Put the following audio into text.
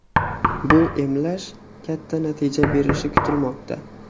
Bu emlash katta natija berishi kutilmoqda.